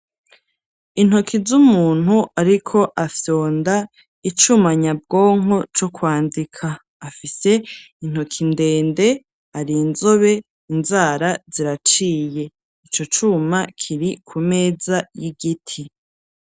Intoki z'umuntu ariko afyonda icuma nyabwonko ,co kwandika, afise intoki ndende ,ari inzobe inzara ziraciye, ico cuma kiri ku meza y'igiti.